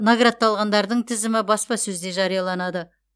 наградталғандардың тізімі баспасөзде жарияланады